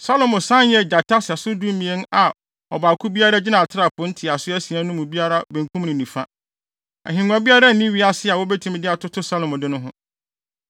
Salomo san yɛɛ gyata sɛso dumien a ɔbaako biara gyina atrapoe ntiaso asia no mu biara benkum ne nifa. Ahengua biara nni wiase a wobetumi de atoto Salomo de no ho.